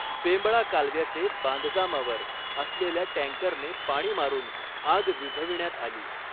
बेंबळा कालव्याचे बांधकामावर असलेल्या ट्रॅंकरने पाणी मारून आग विझविण्यात आली.